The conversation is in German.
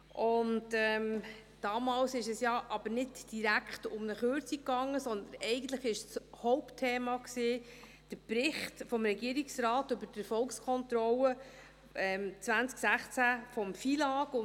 Damals ging es aber nicht direkt um eine Kürzung, sondern eigentlich war das Hauptthema der Bericht des Regierungsrates über die Erfolgskontrolle 2016 des FILAG.